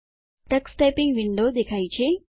Tux typing window દેખાય છે